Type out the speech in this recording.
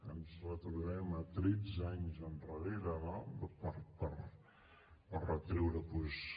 ens retrobem a tretze anys endarrere no per retreure doncs